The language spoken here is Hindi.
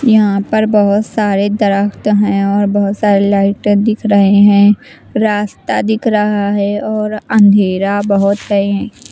यहाँं पर बहुत सारे दरख़्त हैं और बहुत सारे लाइटें दिख रहे हैं रास्ता दिख रहा है और अँधेरा बहुत है।